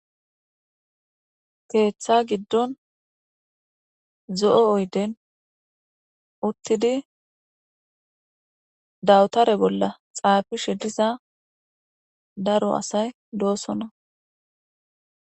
Keetha gidon zo'o oyden utid dawutare bolla xafishe diza daro asay dosona